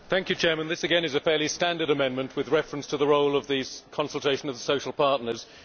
Madam President, this, again, is a fairly standard amendment with reference to the role of these consultations of the social partners.